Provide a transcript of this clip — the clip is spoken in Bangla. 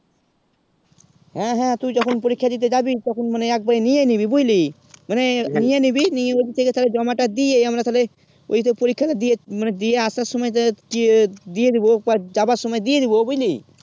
হেঁ হেঁ তুই যখন পরীক্ষা দিতে জাবি তখন এক বারে নিয়ে নিবি বুঝলি মানে নিয়ে নিবি নিয়ে ও দিক দিয়ে তালে জমা তা দিয়ে আমরা তালে ঐই সব পরিখা তা দিয়ে মানে দিয়ে আসার সময় দিয়ে দিবো যাবার সময়ে দিয়ে দিবো বুঝলি